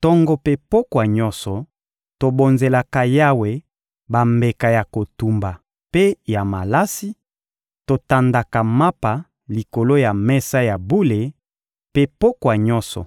Tongo mpe pokwa nyonso, tobonzelaka Yawe bambeka ya kotumba mpe ya malasi, totandaka mapa likolo ya mesa ya bule; mpe pokwa nyonso,